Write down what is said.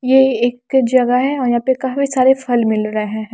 ये एक जगह है और यहां पे काफी सारे फल मिल रहे हैं।